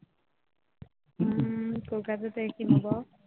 হম কলকাতাতে কিনব